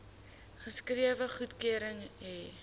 geskrewe goedkeuring hê